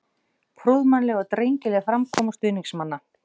Prúðmannleg og drengileg framkoma stuðningsmanna.